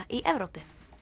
í Evrópu